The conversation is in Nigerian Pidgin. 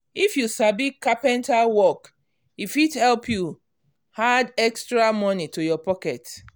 if you sabi carpenter work e fit help you add extra money to your pocket.